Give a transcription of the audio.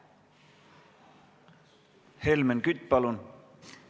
Helmen Kütt, palun!